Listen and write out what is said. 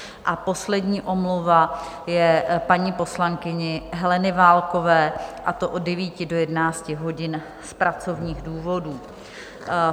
A poslední omluva je paní poslankyně Heleny Válkové, a to od 9 do 11 hodin z pracovních důvodů.